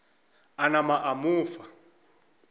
a napa a mo fa